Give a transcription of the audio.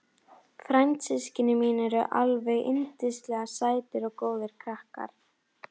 Frændsystkini mín eru alveg yndislega sætir og góðir krakkar.